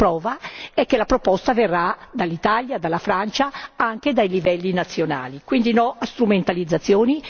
la prova è che la proposta verrà dall'Italia, dalla Francia, anche dai livelli nazionali, quindi no a strumentalizzazioni.